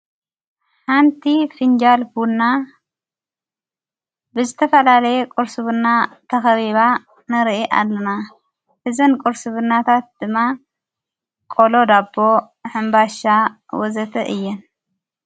ሓንቲ ፊንጃልቡና ብዝተፈላለየ ቈርስብና ተኸቢባ ነርኢ ኣለና ሕዘን ቈርስብናታት ድማ ቆሎ ዳኣቦ ሕምባሻ ወዘተ እየን።